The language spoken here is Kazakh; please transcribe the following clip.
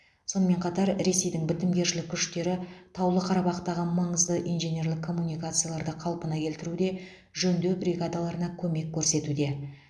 сонымен қатар ресейдің бітімгершілік күштері таулы қарабақтағы маңызды инженерлік коммуникацияларды қалпына келтіруде жөндеу бригадаларына көмек көрсетуде